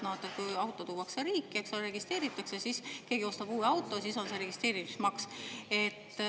Kui auto tuuakse riiki, siis see registreeritakse, kui keegi ostab uue auto, siis on registreerimismaks.